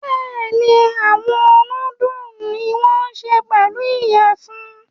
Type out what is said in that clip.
Bẹ́ẹ̀ni, awọn nudulu ni won ṣe pelu iyẹfun